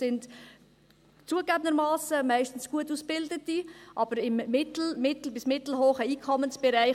Es sind zugegebenermassen meistens Gutausgebildete, aber im mittel- bis mittelhohen Einkommensbereich.